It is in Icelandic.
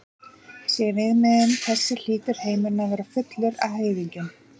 Sé viðmiðunin þessi hlýtur heimurinn að vera fullur af heiðingjum.